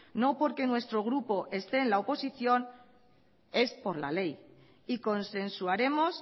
no porque nuestro grupo este en la oposición es por la ley y consensuaremos